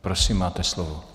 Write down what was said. Prosím, máte slovo.